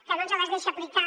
que no ens les deixa aplicar